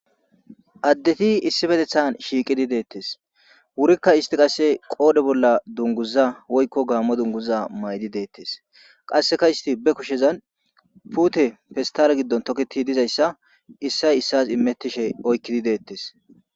addeti issi petethan shiiqidi deettes wurikka isti qasse qoode bolla dunguza woykko gaammo dunguza maydi deettes qasseka isti be kushezan pute pestara giddon toketi dizayssa issay issas imettishe oykkidi deettes